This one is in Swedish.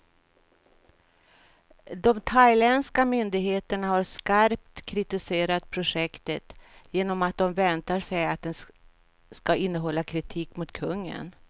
De thailändska myndigheterna har skarpt kritiserat projektet, genom att de väntar sig att det ska innehålla kritik mot kungen.